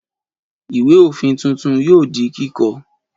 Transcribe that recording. Ìwé-òfin tuntun yóò di kíkọ.